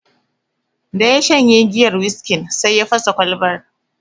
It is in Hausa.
Da ya shanye giyar wiskin, sai ya fasa Kwalbar